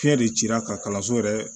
Fiɲɛ de cira ka kalanso yɛrɛ